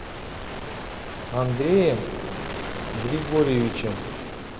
андреем григорьевичем